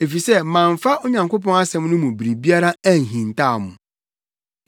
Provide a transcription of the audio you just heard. Efisɛ mamfa Onyankopɔn asɛm no mu biribiara anhintaw mo.